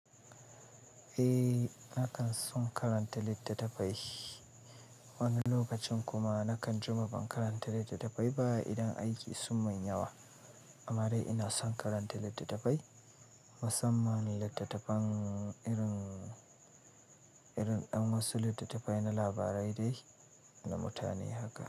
Eh, na kan son karanta littattafai. Wani lokacin kuma na kan jima ban karanta littattafai ba idan aiki sun man yawa. Amma dai ina son karanta littattafai, musamman littattafan irin, irin ɗan wasu littattafai na labarai dai na mutane haka.